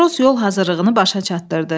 Matros yol hazırlığını başa çatdırdı.